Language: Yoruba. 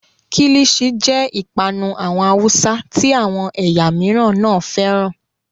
Kílìṣi jẹ́ ìpanu àwọn Haúsá tí àwọn ẹ̀yà mìíràn náà fẹ́ràn.